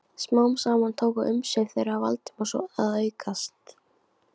Smám saman tóku umsvif þeirra Valdimars að aukast.